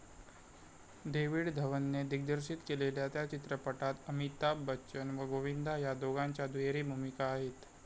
David धवनने दिग्दर्शित केलेल्या त्या चित्रपटात अमिताभ बच्चन व गोविंदा ह्या दोघांच्या दुहेरी भूमिका आहेत